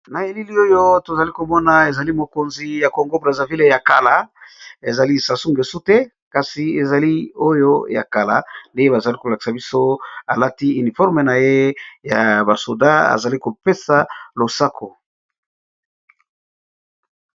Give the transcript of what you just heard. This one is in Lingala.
Na elili oyo tozali komona ezali mokonzi ya kongo braza ville ya kala ezali sasu ngesu te kasi ezali oyo ya kala de bazali kolakisa biso alati uniforme na ye ya ba soda azali kopesa losako.